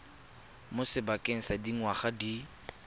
mo sebakeng sa dingwaga di